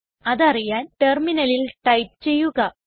അതറിയാൻ ടെർമിനലിൽ ടൈപ്പ് ചെയ്യുക